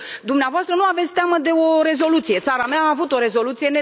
Sigur, dumneavoastră nu aveți teamă de o rezoluție țara mea a avut o rezoluție.